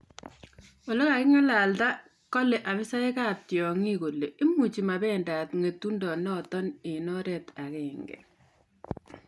Ole kagingalga kale afisaek ap tiongoik kole imuchi mabendat ngetundo notok eng oret agenge